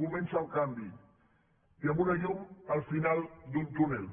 comença el canvi i amb una llum al final d’un túnel